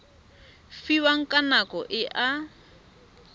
fiwang ka nako e a